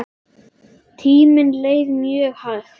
Tíminn leið mjög hægt.